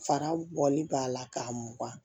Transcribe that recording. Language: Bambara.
Fara bɔli b'a la k'a mugan